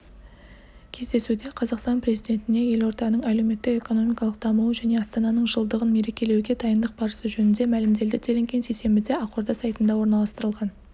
кездесуде қазақстан президентіне елорданың әлеуметтік-экономикалық дамуы және астананың жылдығын мерекелеуге дайындық барысы жөнінде мәлімделді делінген сейсенбіде ақорда сайтында орналастырылған